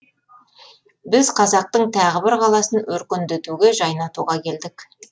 біз қазақтың тағы бір қаласын өркендетуге жайнатуға келдік